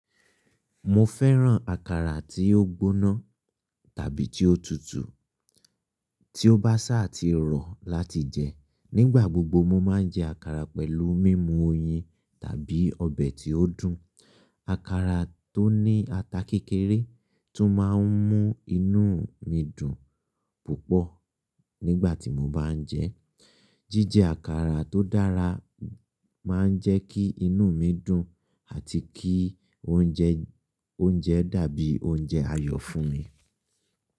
Mo fẹ́ràn àkàrà tí ó gbóná tàbí tí ó tutù, tí ó bá sàtì rọ̀ láti jẹ. Nígbà gbogbo mo máa ń jẹ àkàrà pẹ̀lú mímu oyin tàbí ọbẹ̀ tí ó dùn. Àkàrà tó ní ata kékeré tún máa ń mú inú mi dùn púpọ̀ nígbà tí mo bá ń jẹ ẹ́. Jíjẹ àkàrà tó dára máa ń jẹ́ kí inú mi dùn àti kí oúnjẹ dàbí oúnjẹ ayọ̀ fún mi.